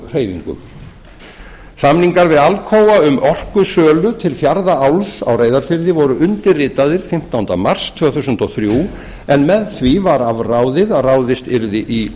sprunguhreyfingum samningar við alcoa um orkusölu til fjarðaáls á reyðarfirði voru undirritaðir fimmtánda mars tvö þúsund og þrjú en með því var afráðið að ráðist yrði í